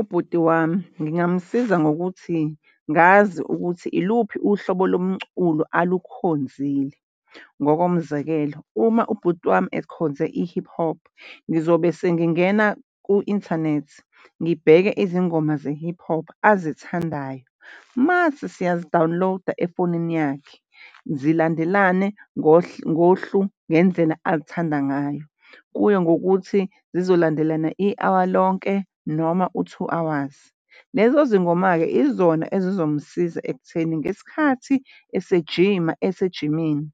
Ubhuti wami ngingamusiza ngokuthi ngazi ukuthi iluphi uhlobo lomculo alukhokhonzile. Ngokomzekelo uma ubhuti wami ekhonze i-hip hop ngizobe sengingena ku-inthanethi ngibheke izingoma ze-hip hop azithandayo. Mase siyazi-download-a efonini yakhe zilandelane ngohlu ngendlela azithande ngayo. Kuye ngokuthi zizolandelana i-hour lonke noma u-two hours. Lezo zingoma-ke izona ezizomsiza ekutheni ngesikhathi esejiima, esejimini